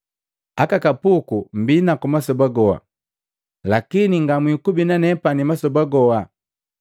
Aka kapuku mmbinaku masoba goha lakini ngamwikubi na nepani masoba goha.